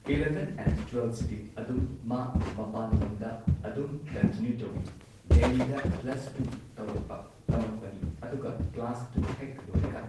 eleven and ꯇ꯭ꯋꯦꯜꯐꯁꯤꯗꯤ ꯑꯗꯨꯝ ꯃꯥ ꯃꯄꯥꯟ ꯂꯝꯗ ꯑꯗꯨꯝ ꯀꯟꯇꯤꯅ꯭ꯌꯨ ꯇꯧꯋꯤ ꯗꯦꯜꯂꯤꯗ ꯄ꯭ꯂꯁ ꯇꯨ ꯇꯧꯔꯛꯄ ꯇꯝꯃꯛꯄꯅꯤ ꯑꯗꯨꯒ ꯀ꯭ꯂꯥꯁ ꯇꯨ ꯍꯦꯛ ꯂꯣꯏꯔꯒ